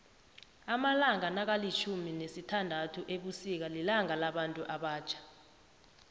amalanga nakalitjhumi nesithanduthu ebusika lilanga labantu abatjha